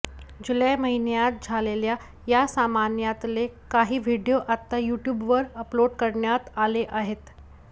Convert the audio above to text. जुलै महिन्यात झालेल्या या सामान्यातले काही व्हिडिओ आता युट्यूबवर अपलोड करण्यात आले आहेत